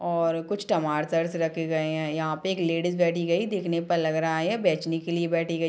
और कुछ टमाटर रखे गए है यहाँ पे एक लेडीज बैठी गयी देखने पे लग रहा है बेचने के लिए बैठी गई--